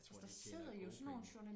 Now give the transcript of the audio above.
jeg tror de tjener gode penge